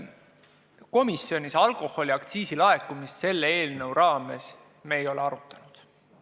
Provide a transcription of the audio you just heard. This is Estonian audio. Komisjonis me alkoholiaktsiisi laekumist selle eelnõu raames ei arutanud.